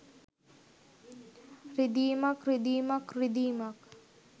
රිදීමක් රිදීමක් රිදීමක්